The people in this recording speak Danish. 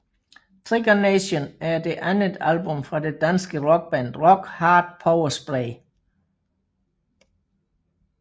Trigger Nation er det andet album fra det danske rockband Rock Hard Power Spray